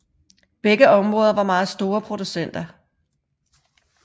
Begge områder var meget store producenter